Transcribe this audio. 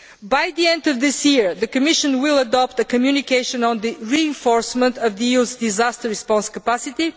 By the end of this year, the Commission will adopt a communication on the reinforcement of the EU's disaster response capacity.